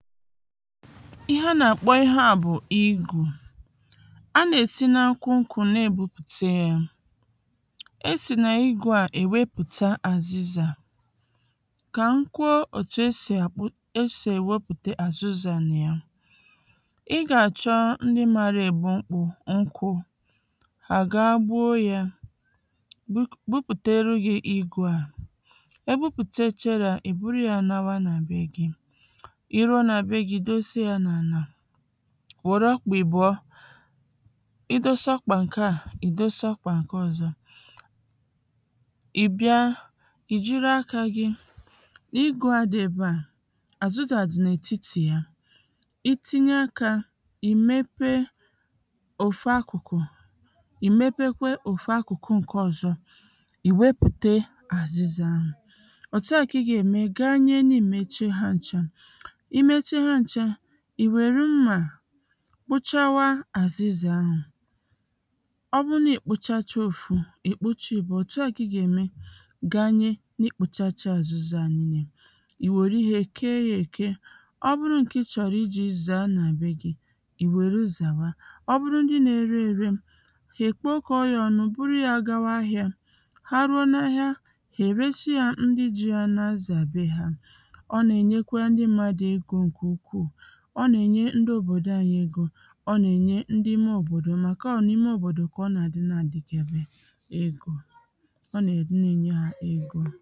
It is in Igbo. ihe a nà-àkpɔ ihe a bụ̀ igù a n’èsi n’ukwu ukwù na-ègbupùte yā esì nè igu à èwepùta azịzà kà m kwuo òtù esì àkpụ esì èwepùte azịzà nà ya ị gà àchọ ndị mara ègbu mkpụ̄ nkwū à ga gbuo yā gbupùtere gị̄ igū à egbupùteche yā ìburu ya nawa nà be gị̄ i ruo nà be gị̄ ì dosee ya nà ànà wère ọkpà ị̀bụ̀ọ ị dosee ọkpà ǹke à ị̀ dosee ọkpà ǹke ọzọ ị̀ bịa ìjiri akā gị n’igù a dị ebe à àzịzà dị̀ n’ètitì ya itinye akā ìmépé òfu akụkụ ìmepe kwe òfu akụ̀kụ ǹke ọzọ ìwepùte àzɪzà à òtu a kà ị gà ème gaa nye nà èmeche ha ncha imechee ha ncha ìwere mmà kpụchawa àzịzà ahụ̀ ọbụrụ na ịkpụchacha ofu ị̀kpụcha ị̀bụ̀ọ òtù a kà ị ga ème gaa na niikpụ̄chacha àzịzà niilé èwère ihē kee yā èke ọbụrụ ǹke ijī zāā nà be gị̄ ìwère zàwa ọbụrụ ndị na-ere ere hà ekwekọ̄ ya ọnụ buru yā gawa ahịā ha ruo na ahịa ha èresi yā ndị ji yā na azà be hā ọ nà-ènye kwa ndị mmadụ̀ egō ǹkè ukwū ọ nà-ènye ndị òbòdò anyī ego ǹkè ukwū ọ nà-ènye ndị ime òbòdò màkà nà ọ n’ime òbòdò kà ọ nà àdị na àdịkele egō ọ nà àdị n’ènye hā ego